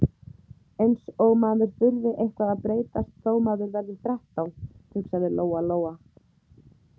Eins og maður þurfi eitthvað að breytast þó maður verði þrettán, hugsaði Lóa- Lóa.